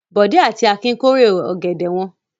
Bọ̀dé àti Akin kórè ọ̀gẹ̀dẹ̀ wọn.